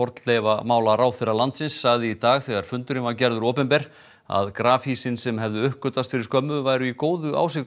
fornleifamálaráðherra landsins sagði í dag þegar fundurinn var gerður opinber að sem hefðu uppgötvast fyrir skömmu væru í góðu